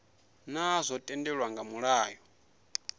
naa zwo tendelwa nga mulayo